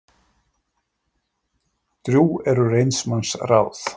Drjúg eru reynds manns ráð.